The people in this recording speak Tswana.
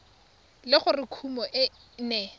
le gore kumo e ne